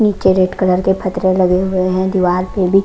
नीचे red colour के पथरे लगे हुए हैं दीवार में भी।